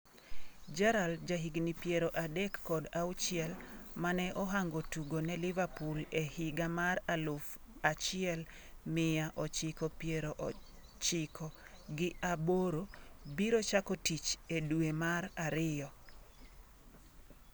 Gerrard, jahigni piero adek kod auchiel, mane ohango tugo ne Liverpool e higa mar aluf achiel mia ochiko piero chiko gi aboro, biro chako tich e dwe mar ariyo.